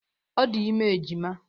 Ọ dị ime ejima.